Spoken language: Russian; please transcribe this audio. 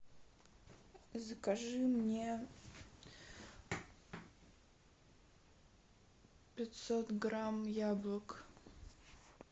закажи мне пятьсот грамм яблок